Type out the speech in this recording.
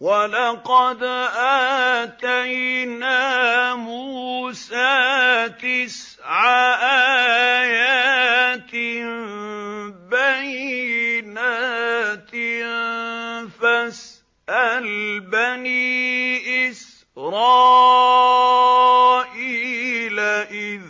وَلَقَدْ آتَيْنَا مُوسَىٰ تِسْعَ آيَاتٍ بَيِّنَاتٍ ۖ فَاسْأَلْ بَنِي إِسْرَائِيلَ إِذْ